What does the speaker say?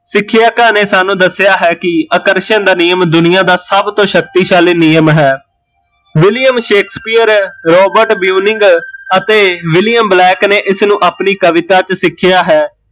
ਸਿੱਖਿਅਕਾਂ ਨੇ ਸਾਨੂ ਦੱਸਿਆ ਹੈ ਕੀ ਆਕਰਸ਼ਣ ਦਾ ਨਿਯਮ ਦੁਨੀਆ ਦਾ ਸਭ ਤੋਂ ਸ਼ਕਤੀਸ਼ਾਲੀ ਨਿਯਮ ਹੈ, ਵਿਲਿਅਮ ਸ਼ੇਖਸਪੀਅਰ, ਰੋਬਰਟ ਬੀਉਨਿਂਗ ਅਤੇ ਵਿਲਿਅਮ ਬਲੈਕ ਨੇ ਇਸਨੂ ਆਪਣੀ ਕਵਿਤਾ ਚ ਸਿੱਖਿਆ ਹੈ